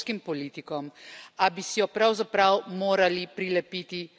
A bi si jo pravzaprav morali prilepiti sami sebi.